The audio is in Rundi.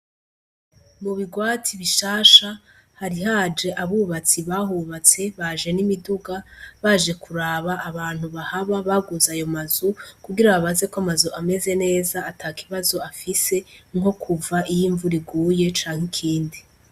Mu bigwati bishasha hari haje abubatsi bahubatse baje n'imiduga baje kuraba abantu bahaba baguze ayo mazu kugira babazeko amazu ameze neza ata kibazo afise nko kuva iyo imvura iguye canke ikindi.